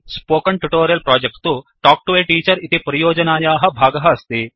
spoken tutorial project to talk to a teacher इति परियोजनायाः भागः अस्ति